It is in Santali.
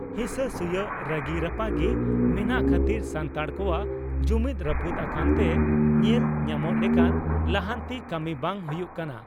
ᱦᱤᱥᱟᱹ ᱥᱩᱭᱟᱹᱜ ᱨᱟᱹᱜᱤ ᱨᱟᱯᱟᱜᱤ ᱢᱮᱱᱟᱜ ᱠᱷᱟᱹᱛᱤᱨ ᱥᱟᱱᱛᱟᱲ ᱠᱚᱣᱟᱜ ᱡᱩᱢᱤᱫᱽ ᱨᱟᱹᱯᱩᱫ ᱟᱠᱟᱱᱛᱮ ᱧᱮᱞ ᱧᱟᱢᱚᱜ ᱞᱮᱠᱟᱱ ᱞᱟᱦᱟᱱᱛᱤ ᱠᱟᱹᱢᱤ ᱵᱟᱝ ᱦᱩᱭᱩᱜ ᱠᱟᱱᱟ ᱾